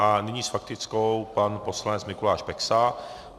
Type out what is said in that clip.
A nyní s faktickou pan poslanec Mikuláš Peksa.